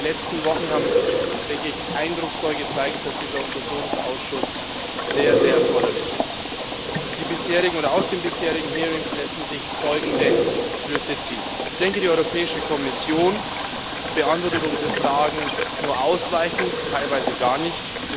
Die letzten Wochen haben eindrucksvoll gezeigt, dass dieser Untersuchungsausschuss sehr, sehr erforderlich ist. Aus den bisherigen Hearings lassen sich folgende Schlüsse ziehen Die Europäische Kommission beantwortet unsere Fragen nur ausweichend, teilweise gar nicht.